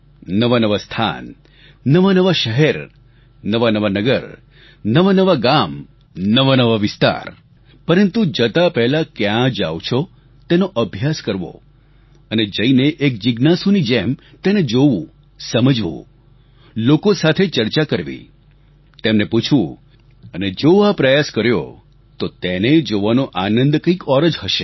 નવાનવા સ્થાન નવાનવા શહેર નવાનવા નગર નવાનવા ગામ નવાનવા વિસ્તાર પરંતુ જતા પહેલાં ક્યાં જાવ છો તેનો અભ્યાસ કરવો અને જઈને એક જિજ્ઞાસુની જેમ તેને જોવું સમજવું લોકો સાથે ચર્ચા કરવી તેમને પૂછવું અને જો આ પ્રયાસ કર્યો તો તેને જોવાનો આનંદ કંઈક ઓર જ હશે